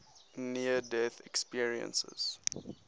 near death experiences